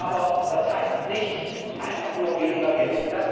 Aber das heißt nicht einfach nur weniger Geld.